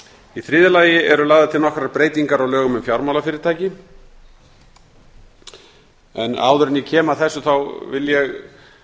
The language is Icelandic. í þriðja lagi eru lagðar til nokkrar breytingar á lögum um fjármálafyrirtæki áður en ég kem að þessu vil ég